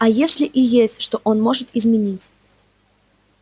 а если и есть что он может изменить